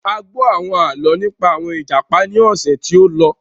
A gbọ́ àwọn àlọ́ nípa àwọn Ìjàpá ní ọ̀sẹ̀ tí ó lọ.